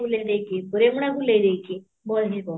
ବୁଲେଇ ଦେଇକି, ରେମଣା ବୁଲେଇ ଦେଇକି bus ଯିବ